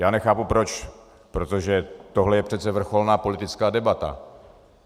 Já nechápu proč, protože tohle je přece vrcholná politická debata.